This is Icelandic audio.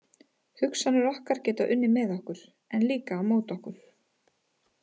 Hugsanir okkar geta unnið með okkur, en líka á móti okkur.